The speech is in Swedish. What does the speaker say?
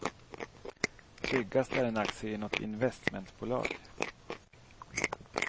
Tryggast är en aktie i något investmentbolag.